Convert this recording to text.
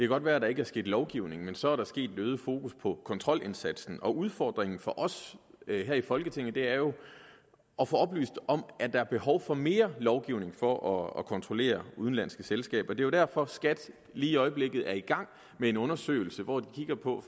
godt være at der ikke er sket lovgivning men så er der sket en øget fokus på kontrolindsatsen udfordringen for os her i folketinget er jo at få oplyst om der er behov for mere lovgivning for at kontrollere udenlandske selskaber det er jo derfor skat lige i øjeblikket er i gang med en undersøgelse hvor de kigger på